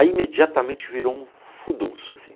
Aí imediatamente virou um furdunço, assim.